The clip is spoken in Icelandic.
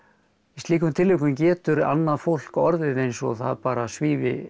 slíkum tilvikum getur annað fólk orðið eins og það bara svífi